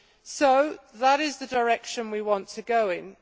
So, that is the direction we want to go in.